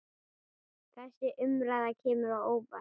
Þessi umræða kemur á óvart.